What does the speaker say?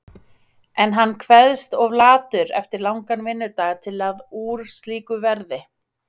En hann kveðst of latur eftir langan vinnudag til að úr slíku verði.